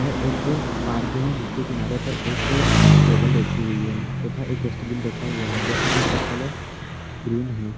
यह एक पार्क है जिसके किनारे पर एक टेबल रखी हुई है तथा एक डस्ट्बिन रखा हुआ है डस्ट्बिन का कलर ग्रीन है।